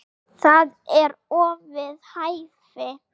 Það eru orð við hæfi.